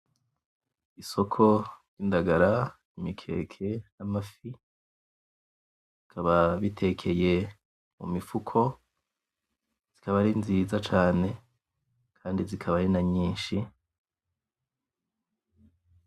Isoko y'indagara; imikeke, amafi. Bikaba bitekeye mu mifuko, zikaba ari nziza cane kandi zikaba ari na nyinshi.